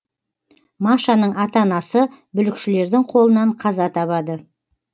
машаның ата анасы бүлікшілердің қолынан қаза табады